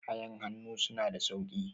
kayan hannu suna da sauki